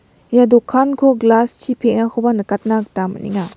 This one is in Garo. Ia dokanko glas chi peng·akoba nikatna gita man·enga.